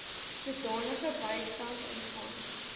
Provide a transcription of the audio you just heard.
sodanige bystand ontvang